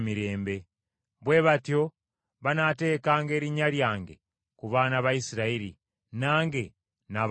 “Bwe batyo banaateekanga erinnya lyange ku baana ba Isirayiri, nange naabawanga omukisa.”